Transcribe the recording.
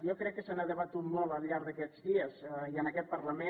jo crec que s’ha debatut molt al llarg d’aquests dies i en aquest parlament